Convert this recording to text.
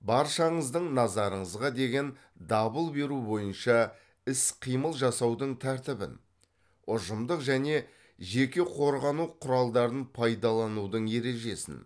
баршаңыздың назарыңызға деген дабыл беру бойынша іс қимыл жасаудың тәртібін ұжымдық және жеке қорғану құралдарын пайдаланудың ережесін